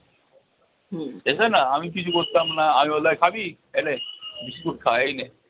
এসে না আমি কিছু করতাম না আমি বলতাম এই খাবি? এলে biscuit খা, এই নে